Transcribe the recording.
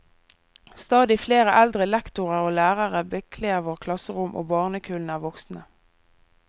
Stadig flere eldre lektorer og lærere bekler våre klasserom og barnekullene er voksende.